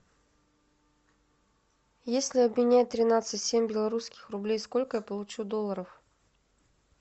если обменять тринадцать семь белорусских рублей сколько я получу долларов